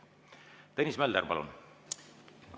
Tõnis Mölder, palun!